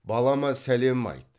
балама сәлем айт